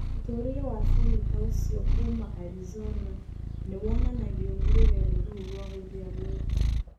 Mũtũũrĩre wa senator ũcio kuuma Arizona nĩ wonanagio nĩ rũgendo rũu rwa gũthiĩ Amerika.